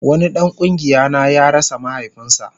Wani dan kungiya na ya rasa mahaifinsa